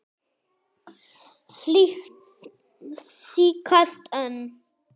Slíkt tíðkast enn.